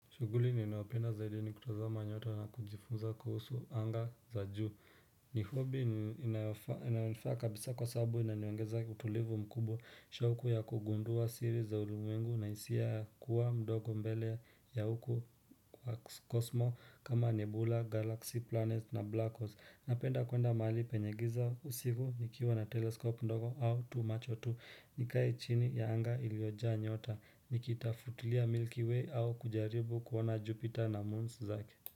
Shughuli ninayopenda zaidi ni kutazama nyota na kujifunza kuhusu anga za juu. Ni hobi inaonifaa kabisa kwa sababu inaniongeza utulivu mkubwa. Shoku ya kugundua siri za ulimwengu na hisia ya kuwa mdogo mbele ya huku wa kosmo kama nebula, galaxy, planet na black holes. Napenda kwenda mahali penye giza usivu nikiwa na teleskopu ndogo au tu macho tu. Nikae chini ya anga iliojaa nyota. Nikita futilia Milky Way au kujaribu kuona Jupiter na moons zake.